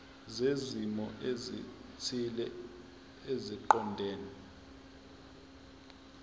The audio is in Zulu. zezimo ezithile eziqondene